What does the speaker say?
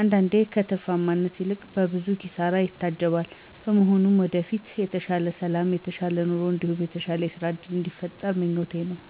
አንዳንዴም ከትርፋማነት ይልቅ በብዙ ኪሳራ ይታጀባል። በመሆኑም ወደፊት የተሻለ ሠላም የተሻለ ኑሮ እንዲሁም የተሻለ የስራ እድል ቢፈጠር ምኞቴ ነው።